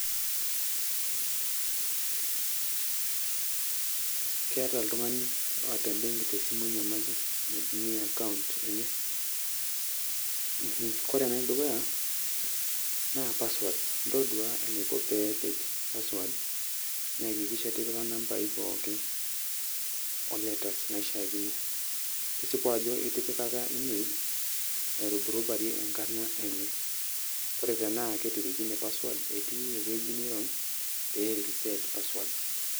Keeta oltung'ani otaa ebenki tesimu enyamali naitumia akaunt enye. Kore enedukuya, naa password. Ntodua enaiko peepik password. Nekikisha etipika inambai pooki o letters naishaakino. Tisipu ajo itipikaka email ,nairuburubarie enkarna enye. Ore tenaa ketirikine password, etii eweji nirony, pee i reset password.